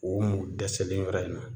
K'o mun dɛsɛlen yɔrɔ in na